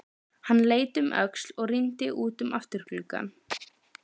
Hann leit um öxl og rýndi út um afturgluggann.